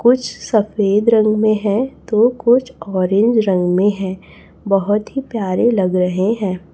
कुछ सफेद रंग में है तो कुछ ऑरेंज रंग में है बहोत ही प्यारे लग रहे हैं।